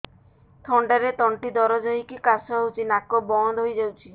ଥଣ୍ଡାରେ ତଣ୍ଟି ଦରଜ ହେଇକି କାଶ ହଉଚି ନାକ ବନ୍ଦ ହୋଇଯାଉଛି